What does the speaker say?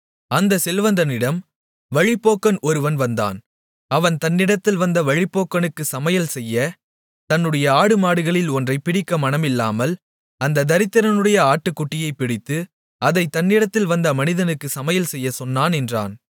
அந்த செல்வந்தனிடம் வழிப்போக்கன் ஒருவன் வந்தான் அவன் தன்னிடத்தில் வந்த வழிப்போக்கனுக்குச் சமையல்செய்ய தன்னுடைய ஆடுமாடுகளில் ஒன்றைப் பிடிக்க மனமில்லாமல் அந்தத் தரித்திரனுடைய ஆட்டுக்குட்டியைப் பிடித்து அதைத் தன்னிடத்தில் வந்த மனிதனுக்குச் சமையல்செய்யச் சொன்னான் என்றான்